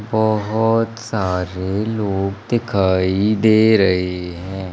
बहोत सारे लोग दिखाई दे रहे हैं।